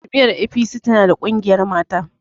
Jam'iyyar APC tana da ƙungiyar mata.